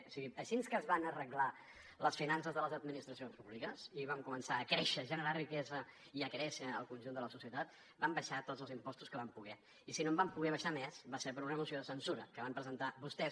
o sigui així que es van arreglar les finances de les administracions públiques i vam començar a créixer a generar riquesa i a fer créixer el conjunt de la societat vam abaixar tots els impostos que vam poder i si no en vam poder abaixar més va ser per una moció de censura que van presentar vostès